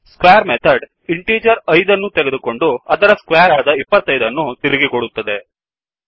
square method integer 5 ನ್ನು ತೆಗೆದುಕೊಂಡು ಅದರ ಸ್ಕ್ವೇರ್ ಆದ 25 ಅನ್ನು ತಿರುಗಿ ಕೊಡುತ್ತದೆ